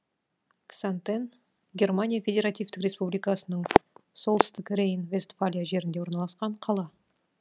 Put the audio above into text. ксантен германия федеративтік республикасының солтүстік рейн вестфалия жерінде орналасқан қала